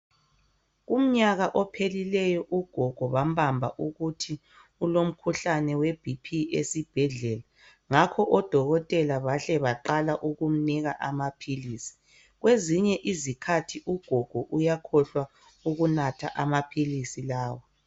Umnyak ophelileyo ugogo bambamba ukuthi ulomkhuhlane weBP esibhedlela ngakho bahle baqala ukumnika amaphilisi. Kwezinye izikhathi uyakhohlwa ukunatha amaphilisi lawo.